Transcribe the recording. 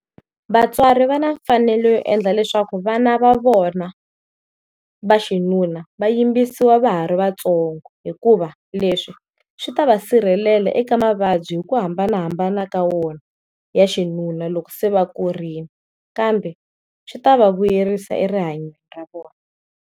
Vatswari va na mfanelo yo endla leswaku vana va vona va xinuna va yimbisiwa va ha ri vatsongo hikuva leswi swi ta va sirhelela eka mavabyi hi ku hambanahambana ka wona ya xinuna loku se va kurile kambe swi ta va vuyerisa erihanyweni ra vona.